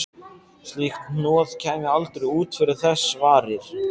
Slíkt hnoð kæmi aldrei út fyrir þess varir.